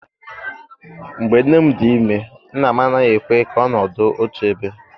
Mgbe nne m dị ime nna m anaghị ekwe ka ọnọdụ otu ebe.